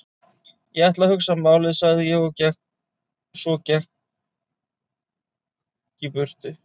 Ég ætla að hugsa málið sagði ég svo og gekk í burtu.